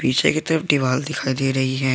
पीछे की तरफ दीवार दिखाई दे रही है।